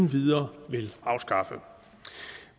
videre vil afskaffe